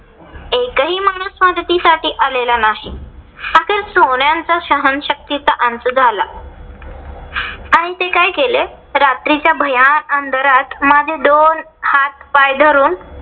कोणीच मदतीसाठी आलेला नाही. अखेर सह्ण्याचा सहनशक्तीचा अंत झाला. आणि ते काय केले, रात्रीच्या भयान अंधारात माझे दोन हात पाय धरून